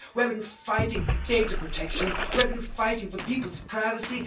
We have been fighting for data protection. We have been fighting for people's privacy.